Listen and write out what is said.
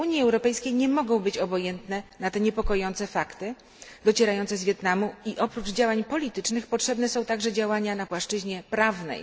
Unii Europejskiej nie mogą być obojętne na te niepokojące fakty docierające z Wietnamu i oprócz działań politycznych potrzebne są także działania na płaszczyźnie prawnej.